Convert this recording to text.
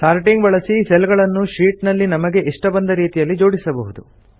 sorting ಬಳಸಿ cell ಗಳನ್ನು sheet ನಲ್ಲಿ ನಮಗೆ ಇಷ್ಟ ಬಂದ ರೀತಿಯಲ್ಲಿ ಜೋಡಿಸಬಹುದು